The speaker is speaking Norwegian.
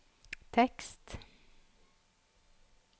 tekst